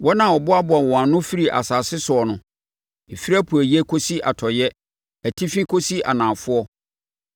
wɔn a ɔboaboaa wɔn ano firii nsase soɔ no, ɛfiri apueeɛ kɔsi atɔeɛ, atifi kɔsi anafoɔ.